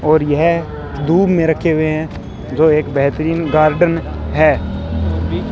और यह धूप में रखे हुए हैं जो एक बेहतरीन गार्डन है।